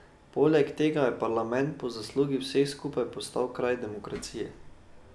Poleg tega je parlament po zaslugi vseh skupaj postal kraj demokracije.